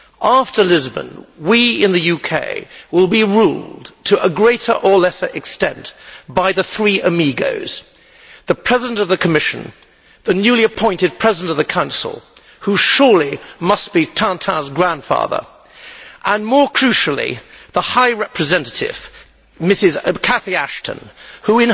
After Lisbon, we in the UK will be ruled to a greater or lesser extent by the three amigos the President of the Commission, the newly appointed President of the Council who must surely be Tintin's grandfather and, more crucially, the High Representative, Mrs Cathy Ashton, who,